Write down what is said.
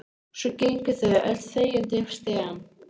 Svo gengu þau öll þegjandi upp stigann.